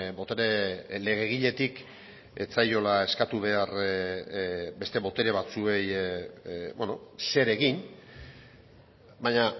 botere legegiletik ez zaiola eskatu behar beste botere batzuei zer egin baina